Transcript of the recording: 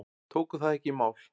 Tóku það ekki í mál.